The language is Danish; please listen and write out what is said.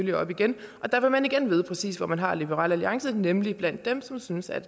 det op igen og der vil man igen vide præcis hvor man har liberal alliance nemlig blandt dem som synes at